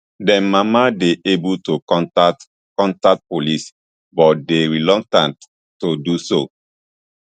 dem mama dey able to contact contact police but dey reluctant to do so